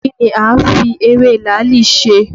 Kí ni a ń fi ewé làálì ṣe?